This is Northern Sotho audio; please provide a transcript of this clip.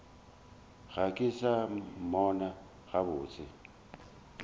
ga ke sa mmona gabotse